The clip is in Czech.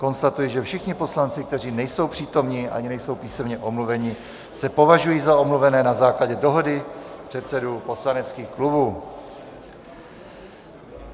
Konstatuji, že všichni poslanci, kteří nejsou přítomni ani nejsou písemně omluveni, se považují za omluvené na základě dohody předsedů poslaneckých klubů.